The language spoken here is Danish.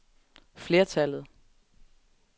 flertallet